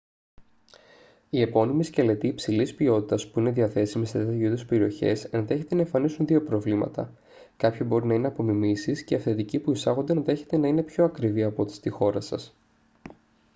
οι επώνυμοι σκελετοί υψηλής ποιότητας που είναι διαθέσιμοι σε τέτοιου είδους περιοχές ενδέχεται να εμφανίσουν δύο προβλήματα: κάποιοι μπορεί να είναι απομιμήσεις και οι αυθεντικοί που εισάγονται ενδέχεται να είναι πιο ακριβοί από ό,τι στη χώρα σας